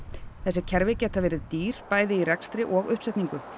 þessi kerfi eru dýr bæði í rekstri og uppsetningu